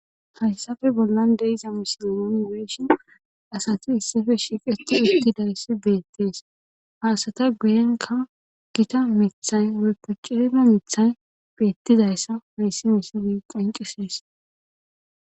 hayssafe bollan deiza misololooniweeshon asati issife shiiqeti ittidayssi beettees haasata guyenka gita mithay araeppe cilime mithay beettidayssa hayssi miside qanqisees